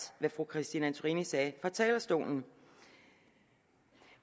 hvad fru christine antorini sagde fra talerstolen